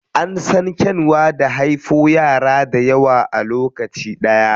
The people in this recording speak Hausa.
An san kyanwa da haifo yara dayawa a lokaci ɗaya.